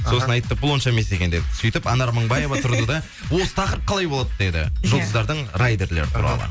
сосын айтты бұл онша емес екен дедік сөйтіп анар мыңбаева тұрды да осы тақырып қалай болады деді жұлдыздардың райдерлеры туралы